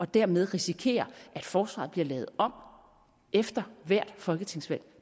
dermed risikerer at forsvaret bliver lavet om efter hvert folketingsvalg